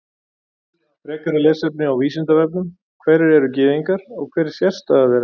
Frekara lesefni á Vísindavefnum: Hverjir eru Gyðingar og hver er sérstaða þeirra?